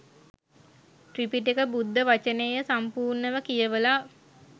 ත්‍රිපිටක බුද්ධ වචනය සම්පූර්ණව කියවලා